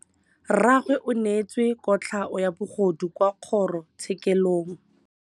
Rragwe o neetswe kotlhaô ya bogodu kwa kgoro tshêkêlông.